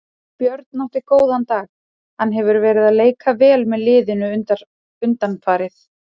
Björn átti góðan dag, hann hefur verið að leika vel með liðinu undanfarið.